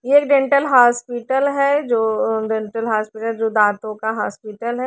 एक dental hospital है जो डेंटल हॉस्पिटल जो दांतों का हॉस्पिटल है।